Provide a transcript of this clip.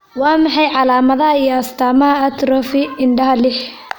Waa maxay calaamadaha iyo astaamaha atrophy indhaha lix?